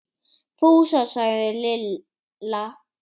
Fúsa! sagði Lilla.